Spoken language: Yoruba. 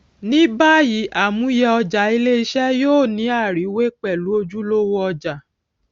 ní bàyìí àmúyẹ ọjà iléiṣé yóò ní àriwé pèlú ojúlówó ọjà